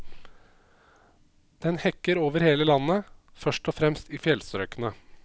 Den hekker over hele landet, først og fremst i fjellstrøkene.